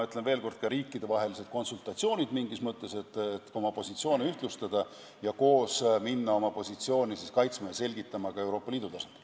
Ja peeti ka riikidevahelisi konsultatsioone, et oma positsioone ühtlustada ja minna koos oma positsiooni kaitsma ja selgitama ka Euroopa Liidu tasandil.